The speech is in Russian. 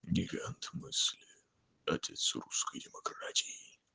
гигант мысли отец русской демократии